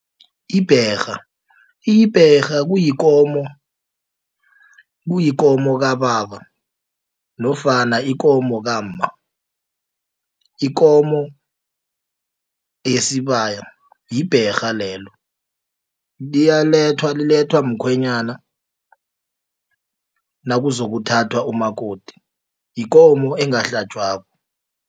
Ibherha. Ibherha kuyikomo kababa nofana yikomo kamma. Yikomo yesibaya libherha lelo liyalethwa lilethwa mkhwenyana nakuzokuthathwa umakoti yikomo engahlatjwako.